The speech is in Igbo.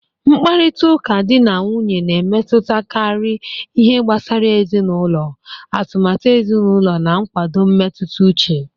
Mkparịta ụka di na nwunye na-emetụtakarị ihe gbasara ezinụlọ, atụmatụ ezinụlọ, na nkwado mmetụta uche